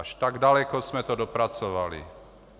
Až tak daleko jsme to dopracovali.